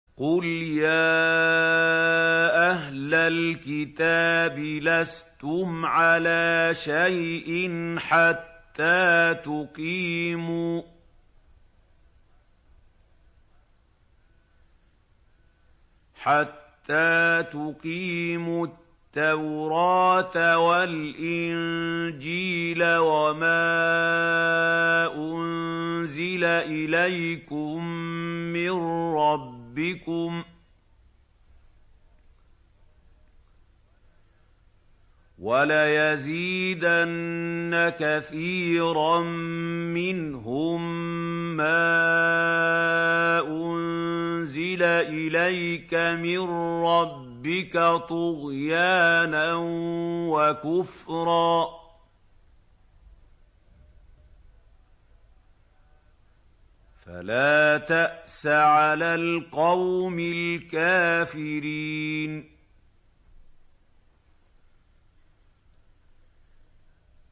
قُلْ يَا أَهْلَ الْكِتَابِ لَسْتُمْ عَلَىٰ شَيْءٍ حَتَّىٰ تُقِيمُوا التَّوْرَاةَ وَالْإِنجِيلَ وَمَا أُنزِلَ إِلَيْكُم مِّن رَّبِّكُمْ ۗ وَلَيَزِيدَنَّ كَثِيرًا مِّنْهُم مَّا أُنزِلَ إِلَيْكَ مِن رَّبِّكَ طُغْيَانًا وَكُفْرًا ۖ فَلَا تَأْسَ عَلَى الْقَوْمِ الْكَافِرِينَ